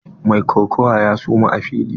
Mai kokawa ya suma a fili.